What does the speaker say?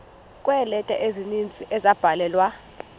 kweeleta ezininzi ezabhalelwa